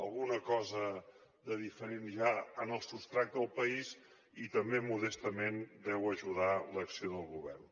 alguna cosa de diferent hi ha en el substrat del país i també modestament deu ajudar l’acció del govern